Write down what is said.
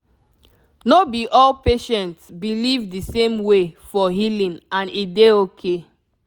no be all patients believe the same way for healing and e dey okay